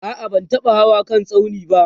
a'a ban taba Hawa kan tsaunin ba